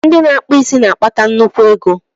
Ndị na-akpụ isi na-akpata nnukwu ego.